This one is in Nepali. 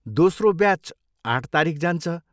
दोस्रो ब्याच आठ तारिख जान्छ।